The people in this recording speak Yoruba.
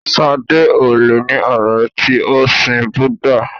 Sadé ò le ní ọ̀rẹ́ tí o sin Búdà.